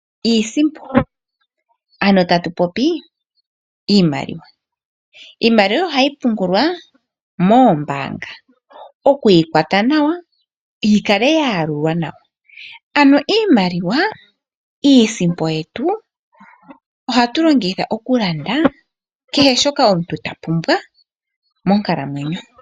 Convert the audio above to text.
Iisimpo ano tatu popi iimaliwa ohayi pungulwa moombanga okwiikwata nawa noyi kale ya yalulwa nawa ano iimaliwa iisimpo yetu ohatu longitha kehe shoka omutu ta pumbwa monkalamwenyo.